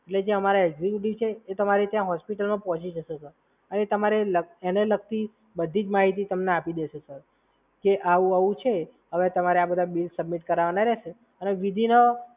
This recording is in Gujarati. એટલે અમારા એકઝયુકેટીવ છે એ તમારી ત્યાં હોસ્પિટલમાં પહોંચી જશે, સર. અને તમારે એને લગતી બધી જ માહિતી તમને આપી દેશે સર કે આવું આવું છે હવે તમારે આ બધા બિલ સબમિટ કરાવવાના રહેશે. અને બીજી વાત,